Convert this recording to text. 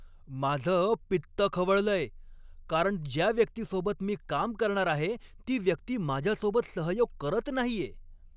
माझं पित्त खवळलंय, कारण ज्या व्यक्तीसोबत मी काम करणार आहे ती व्यक्ती माझ्यासोबत सहयोग करत नाहीये.